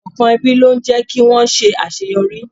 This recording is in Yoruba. Ìṣọ̀kan ẹbí ló ń jé kí wón ṣe àṣeyọrí.